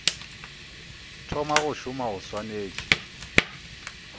thoma go šoma o swanetše